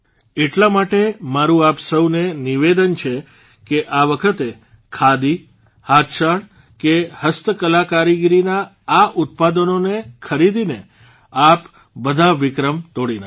એટલા માટે મારૂં આપ સૌને નિવેદન છે કે આ વખતે ખાદી હાથશાળ કે હસ્તકલાકારીગરીના આ ઉત્પાદનોને ખરીદીને આપ બધા વિક્રમ તોડી નાંખો